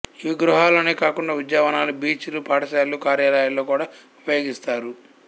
ఇవి గృహాలలోనే కాకుండా ఉద్యానవనాలు బీచ్ లు పాఠశాలలుకార్యాలయాలలో కూడా ఉపయోగిస్తారు